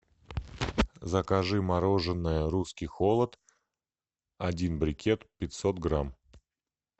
закажи мороженое русский холод один брикет пятьсот грамм